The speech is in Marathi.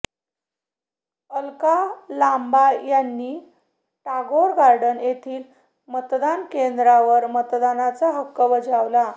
अलका लांबा यांनी टागोर गार्डन येथील मतदान केंद्रावर मतदानाचा हक्क बजावला